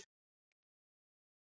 Það er svo margt!